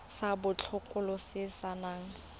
sa botokololo se se nang